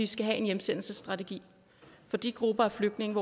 skal have en hjemsendelsesstrategi for de grupper af flygtninge